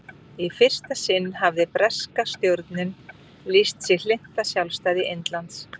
í fyrsta sinn hafði breska stjórnin lýst sig hlynnta sjálfstæði indlands